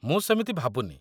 ମୁଁ ସେମିତି ଭାବୁନି।